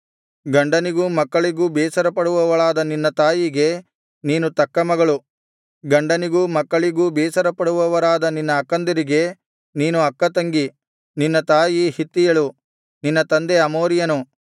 ಗಂಡನಿಗೂ ಮಕ್ಕಳಿಗೂ ಬೇಸರಪಡುವವಳಾದ ನಿನ್ನ ತಾಯಿಗೆ ನೀನು ತಕ್ಕ ಮಗಳು ಗಂಡನಿಗೂ ಮಕ್ಕಳಿಗೂ ಬೇಸರಪಡುವವರಾದ ನಿನ್ನ ಅಕ್ಕಂದಿರಿಗೆ ನೀನು ತಕ್ಕ ತಂಗಿ ನಿನ್ನ ತಾಯಿ ಹಿತ್ತಿಯಳು ನಿನ್ನ ತಂದೆ ಅಮೋರಿಯನು